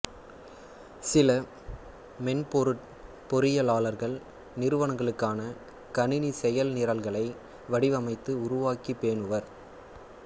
சில மென்பொருட் பொறியியலாளர்கள் நிறுவனங்களுக்கான கணினிச் செய்நிரல்களை வடிவமைத்து உருவாக்கிப் பேணுவர்